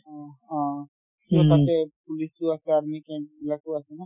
অ', অ তাতে police ও আছে army camp এইবিলাকো আছে ন